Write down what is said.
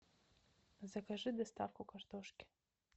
закажи доставку картошки